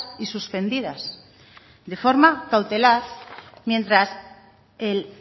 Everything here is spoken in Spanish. y suspendidas de forma cautelar mientras el